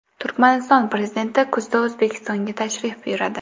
Turkmaniston Prezidenti kuzda O‘zbekistonga tashrif buyuradi.